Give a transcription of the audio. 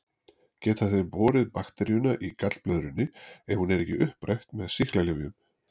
Geta þeir borið bakteríuna í gallblöðrunni ef hún er ekki upprætt með sýklalyfjum.